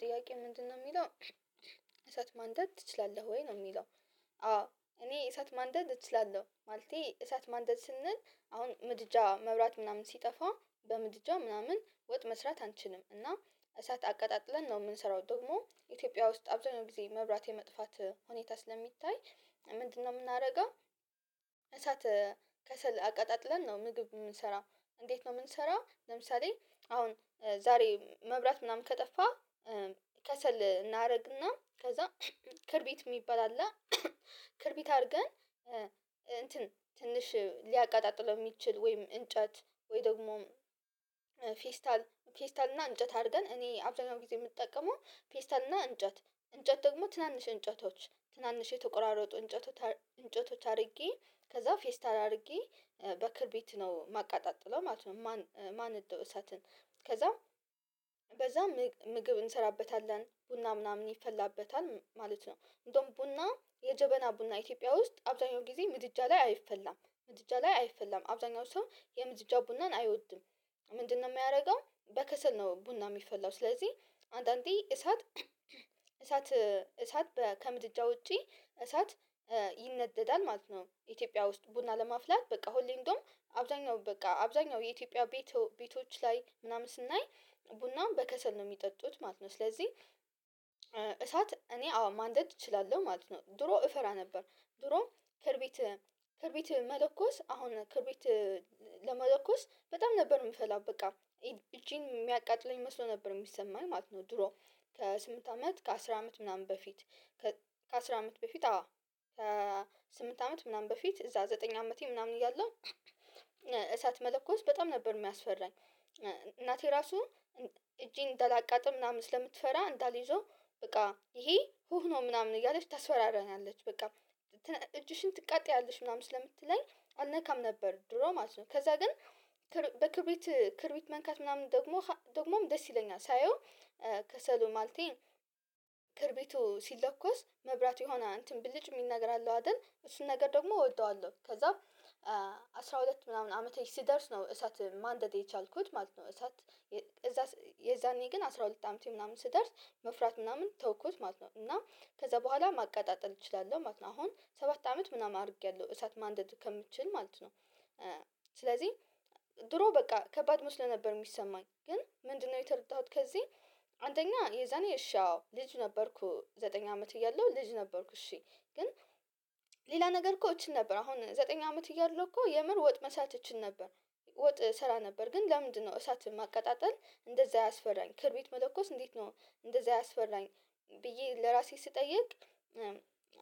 ጥያቄው ምንድነው ሚለው እሳት ማንደድ ትችላለህ ወይ? ነው ሚለው። አዎ እኔ እሳት ማንደድ እችላለሁ ማለቴ እሳት ማንደድ ስንል አሁን ምድጃ መብራት ምናምን ሲጠፋ በምድጃ ምናምን ወጥ መስራት አንችልም እና እሳት አቀጣጥለን ነው የምንሰራው። ደግሞ ኢትዮጵያ ውስጥ አብዛኛው ጊዜ መብራት የመጥፋት ሁኔታ ስለሚታይ ምንድነው ምናደርገው እሳት ከሰል አቀጣጥለን ነው ምግብ የምንሰራው። እንዴት ነው ምንሰራው ለምሳሌ አሁን ዛሬ መብራት ምናምን ከጠፋ ከሰል እናደርግና ከዛ ክርቢት ሚባል አለ ክርቢት አድርገን እንትን ትንሽ ሊያቀጣጥለው ሚችል ወይም እንጨት ወይ ደግሞ ፌስታል ፌስታል እና እንጨት አድርገን እኔ አብዛኛው ጊዜ የምጠቀመው ፌስታል እና እንጨት እንጨት ደግሞ ትናንሽ እንጨቶች ትናንሽ የተቆራረጡ እንጨቶች እንጨቶች አድርጌ ከዛ ፌስታል አድርጌ በክርቢት ነው ማቀጣጥለው ማለት ነው፥ ማነደው እሳትን። ከዛም በዛም ምግብ እንሰራበታለን፤ ቡና ምናምን ይፈላበታል ማለት ነው። እንደውም ቡና የጀበና ቡና ኢትዮጵያ ውስጥ አብዛኛው ጊዜ ምድጃ ላይ አይፈላም፥ ምድጃ ላይ አይፈላም። አብዛኛው ሰው የምድጃ ቡናን አይወድም። ምንድነው የሚያደርገው፥ በከሰል ነው ቡና የሚፈላው። ስለዚህ አንዳንዴ እሳት፣ እሳት፣ እሳት ከምድጃ ውጪ እሳት ይነደዳል ማለት ነው። ኢትዮጵያ ውስጥ ቡና ለማፍላት በቃ ሁሌ እንደውም አብዛኛው በቃ አብዛኛው የኢትዮጵያ ቤቶች ላይ ምናምን ስናይ ቡናን በከሰል ነው ሚጠጡት ማለት ነው። ስለዚህ እሳት እኔ አዎ ማንደድ እችላለሁ ማለት ነው። ድሮ እፈራ ነበር። ድሮ ከርቢት፥ ከርቢት፥ መለኮስ አሁን ከብሪት ለመለኮስ በጣም ነበር የምፈራው በቃ። እጄን የሚያቃጥለኝ መስሎ ነበር የሚሰማኝ ማለት ነው ድሮ። ከስምንት አመት ከአስር አመት ምናምን በፊት ከአስር አመት በፊት አዎ ከስምንት አመት ምናምን በፊት እዛ ዘጠኝ አመቴ ምናምን እያለሁ እሳት መለኮስ በጣም ነበር የሚያስፈራኝ። እናቴ ራሱ እጄን እንዳላቃጥል ምናምን ስለምትፈራ እንዳልይዘው በቃ ይሄ ሁህ ነው ምናምን እያለች ታስፈራራኛለች በቃ። እጅሽን ትቃጠያለሽ ምናምን ስለምትለኝ አልነካም ነበር ድሮ ማለት ነው። ከዛ ግን በክብሪት ክርቢት መንካት ምናምን ደግሞ ደግሞም ደስ ይለኛል። ሳየው ከሰሉ ማለቴም ክርቢቱ ሲለኮስ መብራት የሆነ እንትን ብልጭ የሚል ነገር አለው አይደል? እሱን ነገር ደግሞ እወደዋለሁ ከዛም አስራ ሁለት ምናምን አመቴ ስደርስ ነው እሳት ማንደድ የቻልኩት ማለት ነው። እሳት እዛ የዛኔ ግን አስራ ሁለት አመቴ ምናምን ስደርስ መፍራት ምናምን ተውኩት ማለት ነው እና ከዛ በኋላ ማቃጣጠል እችላለሁ ማለት ነው አሁን ሰባት አመት ምናምን አድርጌያለሁ እሳት ማንደድ እስከምችል ማለት ነው። ስለዚህ ድሮ በቃ ከባድ መስሎ ነበር ሚሰማኝ ግን ምንድነው የተረዳሁት ከዚህ? አንደኛ የዛኔ እሺ አዎ ልጅ ነበርኩ ዘጠኝ አመት እያለሁ ልጅ ነበርኩ እሺ ግን ሌላ ነገር እኮ እችል ነበር። አሁን ዘጠኝ አመት እያለሁ እኮ የምር ወጥ መስራት እችል ነበር። ወጥ እሰራ ነበር ግን ለምንድነው እሳትን ማቀጣጠል እንደዛ ያስፈራኝ? ክርቢት መለኮስ እንዴት ነው እንደዛ ያስፈራኝ? ብዬ ለራሴ ስጠይቅ